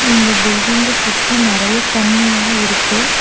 இந்த பில்டிங்க சுத்தி நெறைய தண்ணியா இருக்கு.